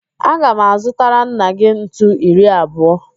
Aga m azụtara nna gị ntu iri abụọ.